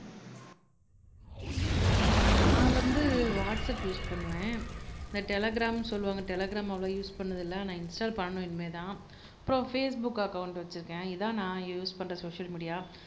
உம் நான் வந்து WhatsApp use பண்ணுவேன் இந்த டெலிகிராம்ன்னு சொல்லுவாங்க டெலிகிராம் அவ்வளவு யூஸ் பண்ணதில்லை ஆனா இன்ஸ்டால் பண்ணணும் இனிமேதான் அப்புறம் பேஸ்புக் அக்கௌன்ட் வச்சிருக்கேன் இதான் நான் யூஸ் பண்ற சோசியல் மீடியா